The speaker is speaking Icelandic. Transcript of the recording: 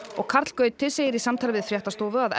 karl Gauti segir í samtali við fréttastofu að